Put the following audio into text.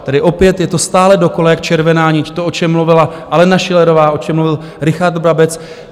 Tedy opět je to stále dokola jak červená nit to, o čem mluvila Alena Schillerová, o čem mluvil Richard Brabec.